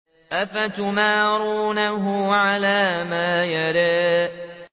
أَفَتُمَارُونَهُ عَلَىٰ مَا يَرَىٰ